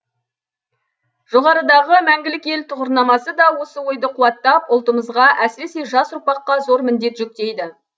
жоғарыдағы мәңгілік ел тұғырнамасы да осы ойды қуаттап ұлтымызға әсіресе жас ұрпаққа зор міндет жүктейді